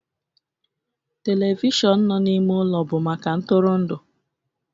telivishọn na n'ime ụlọ bụ maka ntụrụndụ